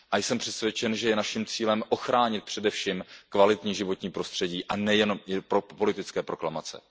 A jsem přesvědčen, že je naším cílem ochránit především kvalitní životní prostředí, a nejenom pro politické proklamace.